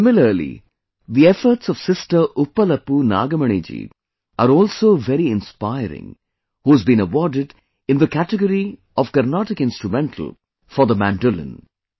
Similarly, the efforts of sister Uppalpu Nagmani ji are also very inspiring, who has been awarded in the category of Carnatic Instrumental on the Mandolin